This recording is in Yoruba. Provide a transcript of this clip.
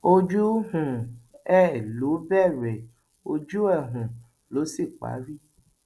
ojú um ẹ ló bẹrẹ ojú ẹ um ló sì parí